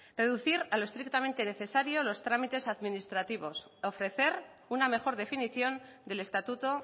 reducir a lo estrictamente necesario los trámites administrativos ofrecer una mejor definición del estatuto